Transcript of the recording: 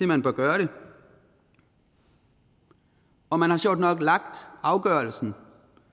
man bør gøre det og man har sjovt nok lagt afgørelsen